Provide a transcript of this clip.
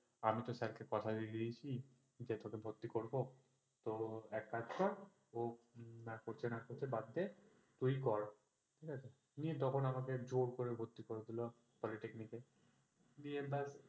আমি তো sir কে কথা দিয়ে দিয়েছি যে তোকে ভর্তি করবো তো এক কাজ কর ওহ না করছে না করছে বাদ দে, তুই ই কর। নিয়ে তখন আমাকে জোর করে ভর্তি করে দিলো polytechnic এ দিয়ে বাস।